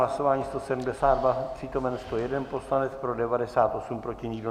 Hlasování 172, přítomen 101 poslanec, pro 98, proti nikdo.